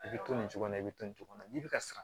I bɛ to nin cogo in na i bɛ to nin cogo la n'i bɛ ka sara